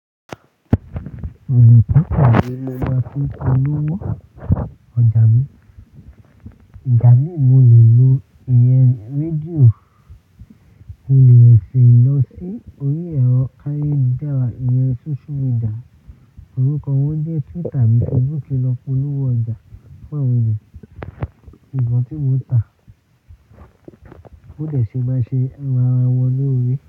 Òpóntò yìí lè máa fún polówó ọjà mi. Ìgbà mí mo lè lo ìyẹ́ rédíò, mo lè rin lọ sí orí ẹ̀rọ káyeludára, ìyẹ́ social media, orúkọ wọn jẹ́ Twitter bíi Facebook lọ polówó ọjà pẹ̀lú èyí. Ìbọn tí mo tà ó dẹ ṣe máa ṣe ara wọn lórí.